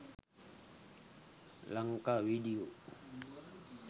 lanka video